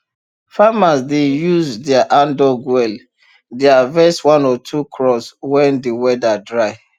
farmers wey dey use their handdug well dey harvest one or two crops when de weather dry